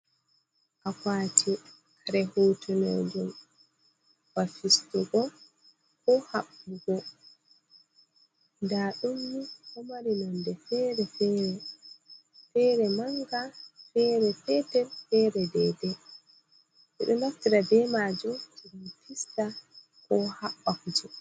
Akwati kare hutunejun wafistugo ko habbugo da dummi homarinonde fere manga fere petel fere dede bedo manaftira be majum fista ko habbakujo.